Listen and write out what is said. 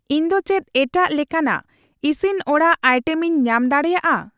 ᱤᱧ ᱫᱚ ᱪᱮᱫ ᱮᱴᱟᱜ ᱞᱮᱠᱟᱱᱟᱜ ᱤᱥᱤᱱ ᱚᱲᱟᱜ ᱟᱭᱴᱮᱢ ᱠᱚ ᱟᱭᱴᱮᱢᱤᱧ ᱧᱟᱢ ᱫᱟᱲᱮᱭᱟᱜᱼᱟ ?